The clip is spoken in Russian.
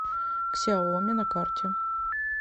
ксяоми на карте